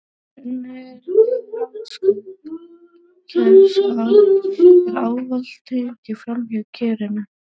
Þegar unnið er við rafskaut kers er ávallt tengt framhjá kerinu.